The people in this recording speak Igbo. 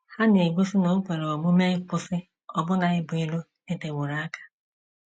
Ha na - egosi na o kwere omume ịkwụsị ọbụna ibu iro dịteworo aka.